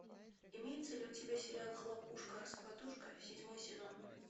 имеется ли у тебя сериал хлопушка раскладушка седьмой сезон